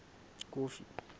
kofi